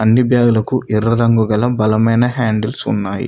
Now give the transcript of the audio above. అన్ని బ్యాగు లకు ఎర్ర రంగు గల బలమైన హ్యాండిల్స్ ఉన్నాయి.